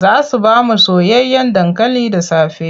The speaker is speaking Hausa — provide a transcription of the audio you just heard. Za su ba mu soyayyen dankali da safe.